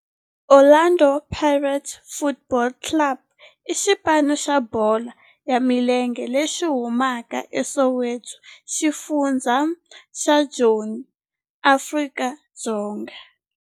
Orlando Pirates Football Club i xipano xa bolo ya milenge lexi humaka eSoweto, xifundzha xa Joni, Afrika-Dzonga.